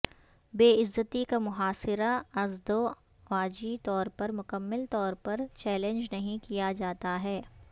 بے عزتی کا محاصرہ ازدواجی طور پر مکمل طور پر چیلنج نہیں کیا جاتا ہے